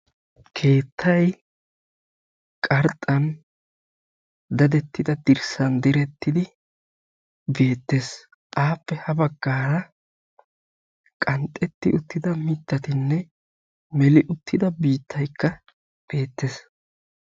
Keettay qarxxan direttidda dirssay beettes. Appe ha bagan qanxxettiddanne melidda mittay beettes.